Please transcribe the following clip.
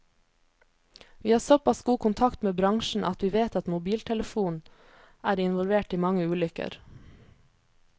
Vi har såpass god kontakt med bransjen at vi vet at mobiltelefon er involvert i mange ulykker.